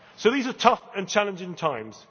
end. So these are tough and challenging times.